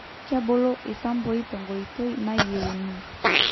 kebulu isampui tenkoitoi nayienu